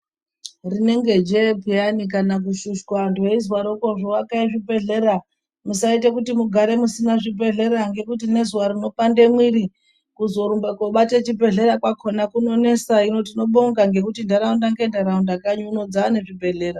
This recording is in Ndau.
Rinenge jee peyani kana kushushwa antu eizwarokozo pezvi bhedhlera musaite kuti mugare kusina zvi bhedhlera nekuti ngezuwa rinopande mwiri kuzorumba kobate chi bhedhlera chakona kunonenesa hino tinobonga nekuti ndaraunda nge ndaraunda kanyi uno dzaane zvi bhedhlera.